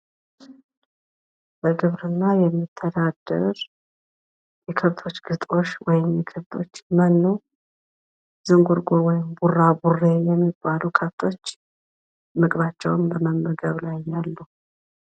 በግብርና የሚተዳደር ፤ የከብቶች ግጦሽ ወይም መኖ ሲሆን ዝንጉርጉር ወይም ቡራቡሬ የሚባል ቀለም ያላቸው ከብቶች ምግባቸውን በመመገብ ላይ መሆናቸውን ያሳያል ።